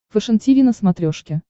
фэшен тиви на смотрешке